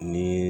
Ni